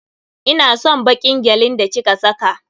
Ina son baƙin gyalin da ki ka saka.